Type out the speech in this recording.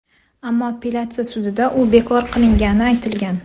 Ammo appelyatsiya sudida u bekor qilingani aytilgan.